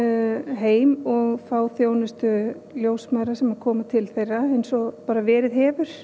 heim og fá þjónustu ljósmæðra sem koma til þeirra eins og verið hefur